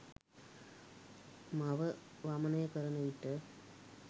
මව වමනය කරන විට